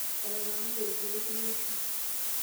Etanang'ayie ilkeek pee ishiu.